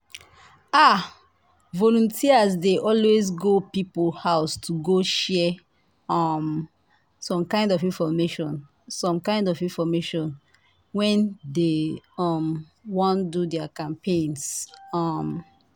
ah! volunteers dey always go people house to go share um some kind infomation some kind infomation when dey um wan do their campaigns. um